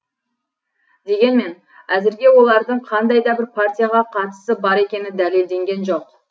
дегенмен әзірге олардың қандай да бір партияға қатысы бар екені дәлелденген жоқ